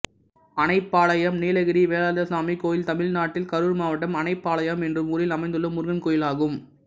அணைப்பாளையம் நீலகிரி வேலாயுதசுவாமி கோயில் தமிழ்நாட்டில் கரூர் மாவட்டம் அணைப்பாளையம் என்னும் ஊரில் அமைந்துள்ள முருகன் கோயிலாகும்